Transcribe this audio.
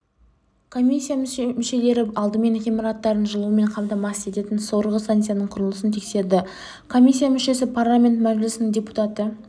комиссия мүшелері алдымен ғимараттарын жылумен қамтамасыз ететін сорғы станциясының құрылысын тексерді комиссия мүшесі парламент мәжілісінің депутаты